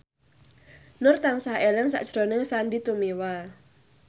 Nur tansah eling sakjroning Sandy Tumiwa